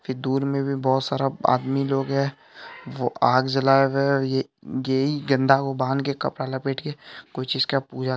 ये दूर में भी बहोत सारा आदमी लोग है वो आग जला रहे है ये यही को बांध के कपड़ा लपेट के कुछ इसका पूजा--